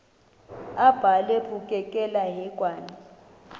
abhalwe bukekela hekwane